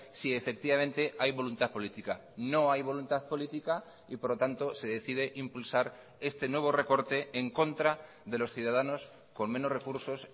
si efectivamente hay voluntad política no hay voluntad política y por lo tanto se decide impulsar este nuevo recorte en contra de los ciudadanos con menos recursos